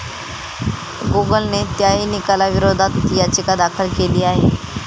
गुगलने त्याही निकालाविरोधात याचिका दाखल केली आहे.